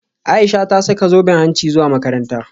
Aisha ta saka zoben hanci zuwa makaranta